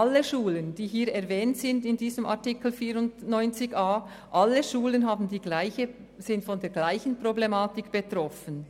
Alle in Artikel 94 erwähnten Schulen sind von derselben Problematik betroffen.